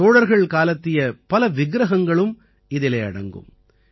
சோழர்கள் காலத்திய பல விக்ரகங்களும் இதிலே அடங்கும்